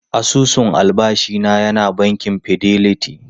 Asusun albashi na yana bankin Fidelity.